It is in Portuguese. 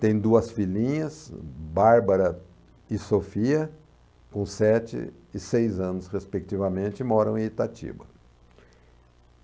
Tem duas filhinhas, Bárbara e Sofia, com sete e seis anos, respectivamente, e moram em Itatiba.